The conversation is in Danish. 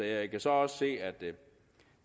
jeg kan så også se at